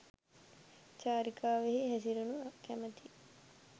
චාරිකාවෙහි හැසිරෙනු කැමැති